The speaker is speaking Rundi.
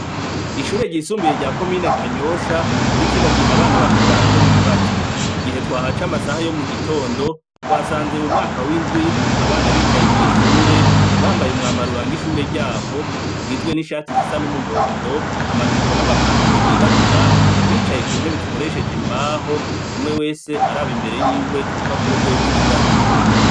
Ishure ryisumbuye rya komine kanyosha, muri kino gihe abana bariko barakora ibibazo, igihe twahaca amasaha yo mugitondo twasanze mu mwaka w'indwi abana bicaye mw'ishure bambaye umwambaro uranga ishure ryabo ugizwe n'ishati zisa n'umuhondo amajipo n'amapantaro yirabura, bicaye ku ntebe zikoresheje kumbaho umwe wese araba imbere y'iwe ku rupapuro gwiwe gw'ikibazo.